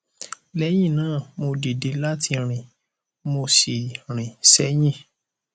lẹyìn náà mo dìde láti rìn mo sì rìn sẹyìn